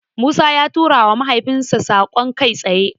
Musa ya turawa mahaifinsa saƙon kai tsaye.